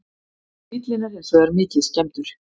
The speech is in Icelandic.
Bíllinn er hins vegar mikið skemmdur